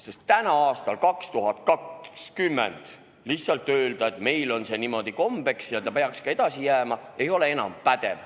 Sest täna, aastal 2020 lihtsalt öelda, et meil on see niimoodi kombeks ja see peaks ka edasi nii jääma, ei ole enam pädev.